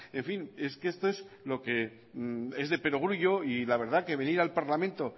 en fin es que esto es lo que es de perogrullo y la verdad que venir al parlamento